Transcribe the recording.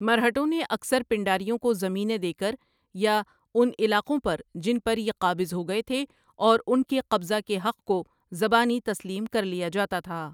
مرہٹوں نے اکثر پنڈاریوں کو زمینیں دے کر یا ان علاقوں پر جن پر یہ قابض ہو گئے تھے اور ان کے قبضہ کے حق کو زبانی تسلیم کر لیا جاتا تھا ۔